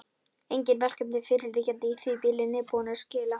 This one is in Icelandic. Engin verkefni fyrirliggjandi í því bili, nýbúinn að skila.